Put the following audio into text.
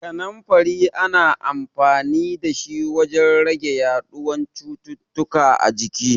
Kaninfari ana amfanin da shi wajen rage yaɗuwan cututtuka a jiki.